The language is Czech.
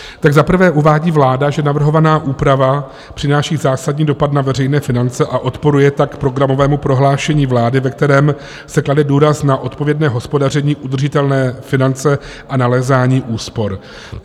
Za prvé uvádí vláda, že navrhovaná úprava přináší zásadní dopad na veřejné finance a odporuje tak programovému prohlášení vlády, ve kterém se klade důraz na odpovědné hospodaření, udržitelné finance a nalézání úspor.